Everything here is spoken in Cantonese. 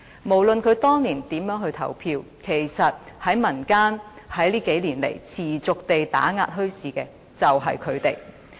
無論他們當年如何投票，這幾年來持續打壓民間墟市的，其實便是他們。